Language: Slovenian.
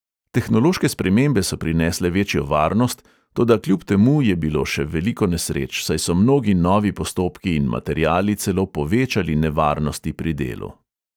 Tehnološke spremembe so prinesle večjo varnost, toda kljub temu je bilo še veliko nesreč, saj so mnogi novi postopki in materiali celo povečali nevarnosti pri delu.